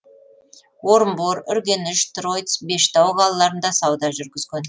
орынбор үргеніш тройц бештау қалаларында сауда жүргізген